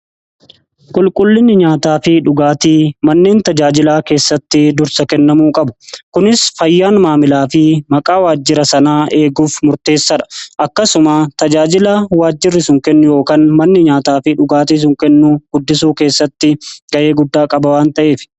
Qulqullinni nyaataa fi dhugaatii manneen tajaajilaa keessatti dursa kennamuu qabu kunis fayyaan maamilaa fi maqaa waajjira sanaa eeguuf murteessaa dha. Akkasuma tajaajilaa waajjirri sun kennu yookan manni nyaataa fi dhugaatii sun kennu guddisuu keessatti ga'ee guddaa qabaa waan ta'eef.